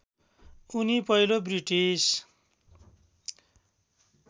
उनी पहिलो ब्रिटिस